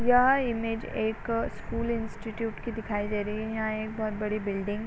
यहाँ इमेज एक school institute की दिखाई दे रही है। यहाँ एक बोहोत बड़ी बिल्डिंग --